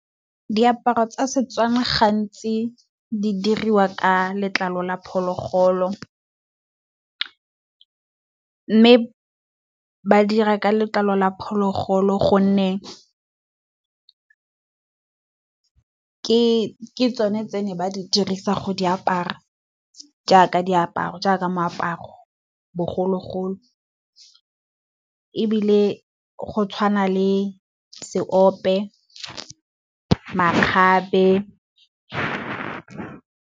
Diaparo tsa setswana gantsi di dirwa ka letlalo la phologolo. Mme ba dira ka letlalo la phologolo gonne ke tsone tse ne ba di dirisa go di apara, jaaka diaparo jaaka moaparo bogologolo. Ebile go tshwana le seope, makgabe.